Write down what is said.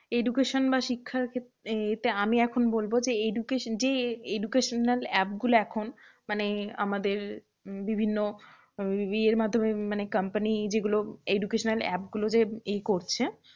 education বা শিক্ষার খেত, এতে আমি এখন বলবো যে, education যে educational app গুলো এখন মানে আমাদের বিভিন্ন ইয়ের মাধ্যমে মানে company যেগুলো educational app গুলো যে এই করছে।